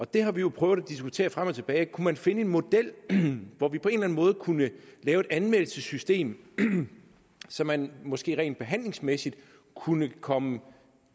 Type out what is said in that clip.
det har vi jo prøvet at diskutere frem og tilbage kunne man finde en model hvor vi på en eller anden måde kunne lave et anmeldelsessystem så man måske rent behandlingsmæssigt kunne komme